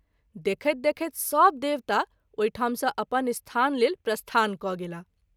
देखैत देखैत सभ देवता ओहि ठाम सँ अपन स्थान लेल प्रस्थान क’ गेलाह।